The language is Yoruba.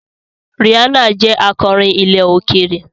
Rihanna jẹ́ akọrin ilẹ̀ òkèèrè.